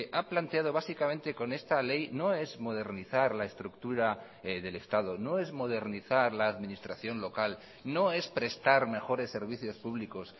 ha planteado básicamente con esta ley no es modernizar la estructura del estado no es modernizar la administración local no es prestar mejores servicios públicos